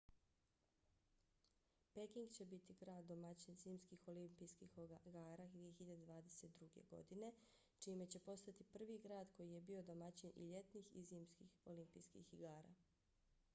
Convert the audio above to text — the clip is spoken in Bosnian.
peking će biti grad domaćin zimskih olimpijskih igara 2022. godine čime će postati prvi grad koji je bio domaćin i ljetnih i zimskih olimpijskih igara